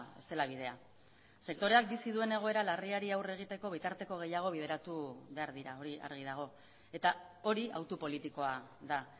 ez dela bidea sektoreak bizi duen egoera larriari aurre egiteko bitarteko gehiago bideratu behar dira hori argi dago eta hori autu politikoa da